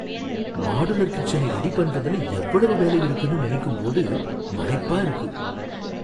Modular கிச்சனை ready பண்ணுறதுல எவ்வளவு வேலை இருக்குன்னு நினைக்கும்போது மலைப்பா இருக்கு.